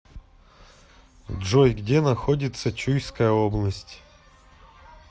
джой где находится чуйская область